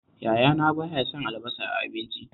Yayana ba ya son albasa a abinci